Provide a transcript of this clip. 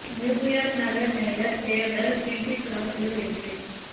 New York நகர mayor தேர்தல் Bill de Blasio வெற்றி